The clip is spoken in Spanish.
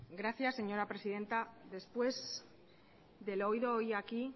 gracias señora presidenta después de lo oído hoy aquí